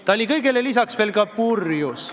Ta oli kõigele lisaks veel purjus.